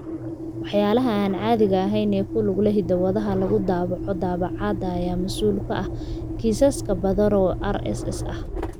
Waxyaalaha aan caadiga ahayn ee ku lug leh hiddo-wadaha lagu daabaco daabacaadda ayaa mas'uul ka ah kiisas badan oo RSS ah.